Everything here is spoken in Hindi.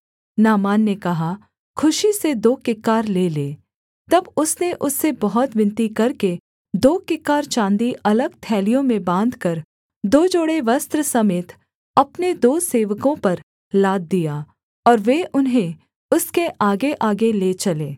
नामान ने कहा खुशी से दो किक्कार ले ले तब उसने उससे बहुत विनती करके दो किक्कार चाँदी अलग थैलियों में बाँधकर दो जोड़े वस्त्र समेत अपने दो सेवकों पर लाद दिया और वे उन्हें उसके आगेआगे ले चले